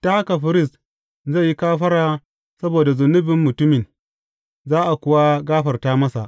Ta haka firist zai yi kafara saboda zunubin mutumin, za a kuwa gafarta masa.